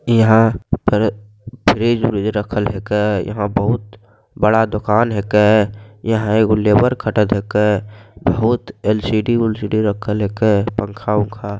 यहाँ पर फ्रिज व्रिज रखल हैके | यहाँ बहुत बड़ा दुकान हैके | यहाँ एगो लेबर खटत हैके | बहुत एल.सी.डी. उलसीडी रखल हैके | पंखा ऊंखा --